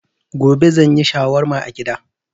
Gobe zan yi shawarma a gida.